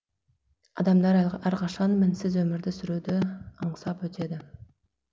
адамдар әрқашан мінсіз өмірді сүруді аңсап өтеді